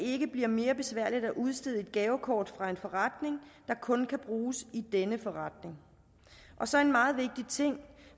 ikke bliver mere besværligt at udstede et gavekort fra en forretning der kun kan bruges i denne forretning og så en meget vigtig ting